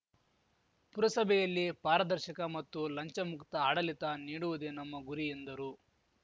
ಪುರಸಭೆಯಲ್ಲಿ ಪಾರದರ್ಶಕ ಮತ್ತು ಲಂಚಮುಕ್ತ ಆಡಳಿತ ನೀಡುವುದೇ ನಮ್ಮ ಗುರಿ ಎಂದರು